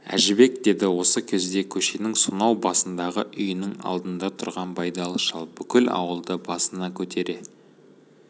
әжібек деді осы кезде көшенің сонау басындағы үйінің алдында тұрған байдалы шал бүкіл ауылды басына көтере